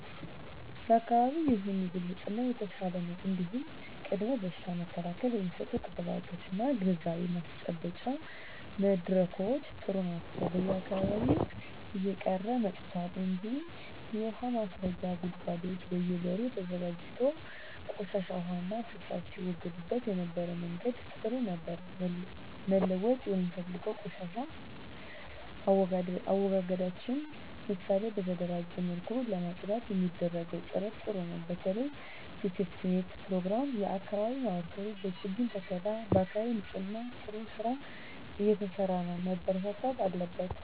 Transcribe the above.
የአካባቢ ይሁን የግል ንጽህና የተሻለ ነው እንዲሁም ቅድመ በሽታ መከላከል የሚሰጡ ክትባቶች እና ግንዛቤ ማስጨበጫ መድረኮች ጥሩ ናቸው በየአካባቢው እየቀረ መጥቷል እንጂ የውሀ ማስረጊያ ጉድጓዶች በየ በሩ ተዘጋጅቶ ቆሻሻ ዉሃና ፍሳሽ ሲወገድበት የነበረበት መንገድ ጥሩ ነበር መለወጥ የምፈልገው የቆሻሻ አወጋገዳችንን ነው ምሳሌ በተደራጀ መልኩ ለማፅዳት የሚደረገው ጥረት ጥሩ ነው በተለይ በሴፍትኔት ፕሮግራም የአካባቢ ማህበረሰብ በችግኝ ተከላ በአካባቢ ንፅህና ጥሩ ስራ እየተሰራ ነው መበርታት አለበት